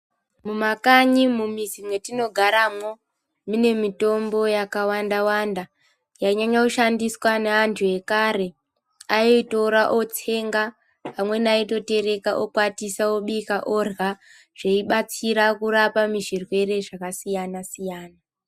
Mumakanyi mumizi metinogara mo, munemitombo yakawanda wanda, yanyanya kushandiswa nevantu vekare. Ayitora otsenga, pamweni ayitotereka okwatisa, obika odlya. Zveyibatsira kurapa muzvirwere zvakasiyana siyana.